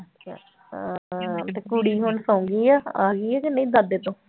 ਹਾਂ ਤੇ ਕੁੜੀ ਹੁਣ ਸੌਂ ਗਈ ਆ, ਆ ਗਈ ਹੈ ਕਿ ਨਹੀਂ ਦਾਦੇ ਤੋਂ